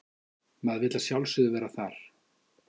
Maður vill að sjálfsögðu vera þar